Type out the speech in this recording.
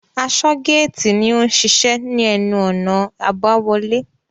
Asọ́-géètì ni ó n ṣiṣẹ́ ní ẹnu-ọ̀nà àbáwọlé.